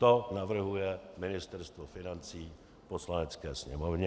To navrhuje Ministerstvo financí Poslanecké sněmovně.